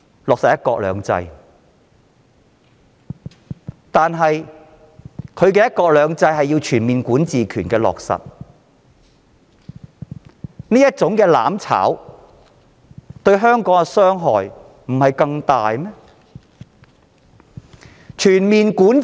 但是，現在的"一國兩制"，卻要全面落實管治權，這種"攬炒"對香港的傷害不是更大嗎？